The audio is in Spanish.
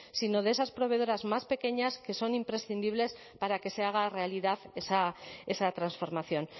sino de esas proveedoras más pequeñas que son imprescindibles para que se haga realidad esa transformación